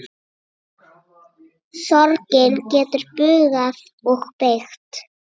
Sorgin getur bugað og beygt.